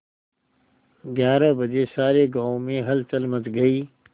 ग्यारह बजे सारे गाँव में हलचल मच गई